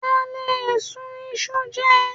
A lè sun iṣu jẹ.